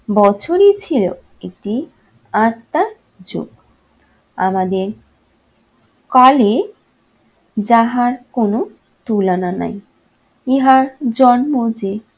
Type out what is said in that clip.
বছরই ছিল একটি আত্মার চোখ। আমাদের কালে যাহার কোন তুলনা নাই। ইহার জন্ম যে